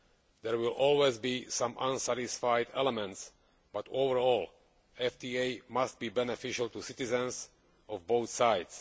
There will always be some unsatisfied elements but, all in all, FTAs must be beneficial to citizens of both sides.